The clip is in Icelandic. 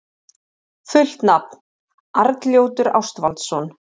Fullt nafn: Arnljótur Ástvaldsson.